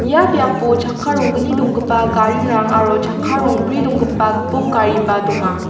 ia biapo chakka ronggni donggipa garirang aro chakka rongbri donggipa gipok gariba donga.